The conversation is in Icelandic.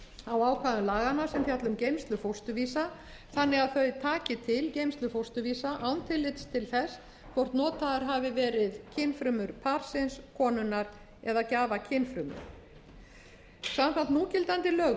á ákvæðum laganna sem fjalla um geymslu fósturvísa þannig að þau taki til geymslu fósturvísa án tillits til þess hvort notaðar hafi verið kynfrumur parsins konunnar eða gjafakynfrumur samkvæmt núgildandi lögum er